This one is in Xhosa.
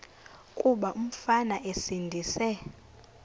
kuba umfana esindise